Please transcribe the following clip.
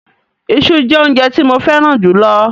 Iṣu jẹ́ óúnjẹ tí mo fẹ́ràn jù lọ.